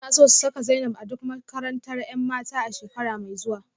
Suna so su saka Zainab a duk makarantar 'yan mata a shekara mai zuwa